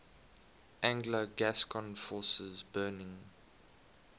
anglo gascon forces burning